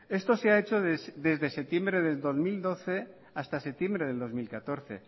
esto se ha hecho desde septiembre de dos mil doce hasta septiembre de dos mil catorce